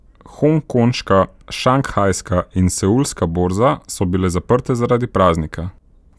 Hongkonška, šanghajska in seulska borza so bile zaprte zaradi praznika.